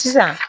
Sisan